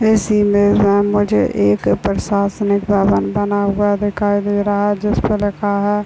इस इमेज में हम मुझे एक प्रशासनिक भवन बना हुआ दिखाई दे रहा है जिस पर लिखा है।